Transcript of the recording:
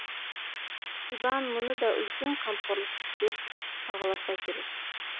сибан мұны да үлкен қамқорлық деп бағаласа керек